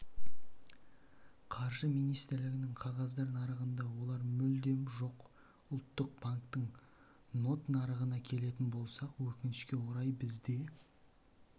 қаржы министрлігінің қағаздар нарығында олар мүлдем жоқ ұлттық банктің нот нарығына келетін болсақ өкінішке орай бізде